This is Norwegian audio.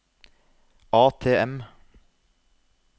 ATM